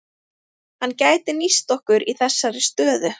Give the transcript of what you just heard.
Hann gæti nýst okkur í þessari stöðu.